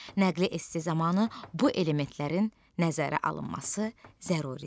Nəqli esse zamanı bu elementlərin nəzərə alınması zəruridir.